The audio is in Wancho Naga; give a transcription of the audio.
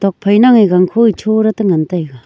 phaina e gang pho cho la tengan taga.